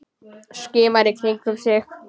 Skimar í kringum sig.